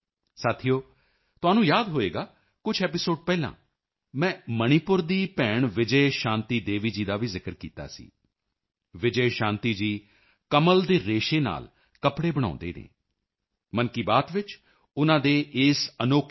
ਸਾਥੀਓ ਤੁਹਾਨੂੰ ਯਾਦ ਹੋਵੇਗਾ ਕੁਝ ਐਪੀਸੋਡ ਪਹਿਲਾਂ ਮੈਂ ਮਣੀਪੁਰ ਦੀ ਭੈਣ ਵਿਜੈ ਸ਼ਾਂਤੀ ਦੇਵੀ ਜੀ ਦਾ ਵੀ ਜ਼ਿਕਰ ਕੀਤਾ ਸੀ ਵਿਜੈ ਸ਼ਾਂਤੀ ਜੀ ਕਮਲ ਦੇ ਰੇਸ਼ੇ ਨਾਲ ਕੱਪੜੇ ਬਣਾਉਂਦੇ ਹਨ ਮਨ ਕੀ ਬਾਤ ਵਿੱਚ ਉਨ੍ਹਾਂ ਦੇ ਇਸ ਅਨੋਖੇ ਈਕੋਫ੍ਰੈਂਡਲੀ ਆਈਡੀਆ ਈਕੋਫ੍ਰੈਂਡਲੀ ਆਈਡੀਈਏ ਦੀ ਗੱਲ ਹੋਈ ਤਾਂ ਉਨ੍ਹਾਂ ਦਾ ਕੰਮ ਹੋਰ ਪ੍ਰਸਿੱਧ ਹੋ ਗਿਆ ਅੱਜ ਵਿਜੇ ਸ਼ਾਂਤੀ ਜੀ ਫੋਨ ਤੇ ਸਾਡੇ ਨਾਲ ਹਨ